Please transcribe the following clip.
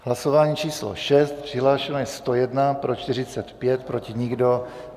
Hlasování číslo 6, přihlášeno je 101, pro 45, proti nikdo.